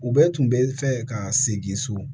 U bɛɛ tun bɛ fɛ ka segin so